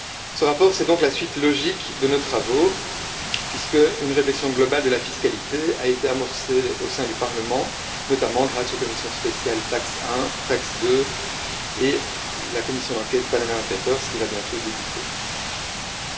Ce rapport est donc la suite logique de nos travaux, puisqu'une réflexion globale de la fiscalité a été amorcée au sein du Parlement, notamment grâce aux commissions spéciales TAXE 1, TAXE 2 et à la commission d'enquête sur les Panama Papers, qui va bientôt débuter ses travaux.